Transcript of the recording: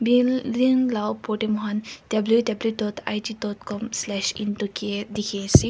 building lah upar teh moikhan W_W dot I_G dot com slash into K_F dikhi ase.